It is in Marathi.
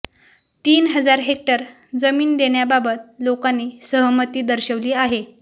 तीन हजार हेक्टर जमीन देण्याबाबत लोकांनी सहमती दर्शविली आहे